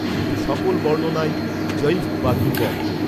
কিন্তু সকল বর্ণনাই যঈফ বা দূর্বল